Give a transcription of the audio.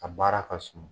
A baara ka suma